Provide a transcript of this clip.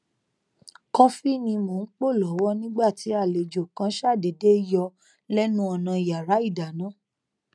kọfi ni mo n po lọwọ nigba ti alejo kan ṣadeede yọ lénu ònà iyara idana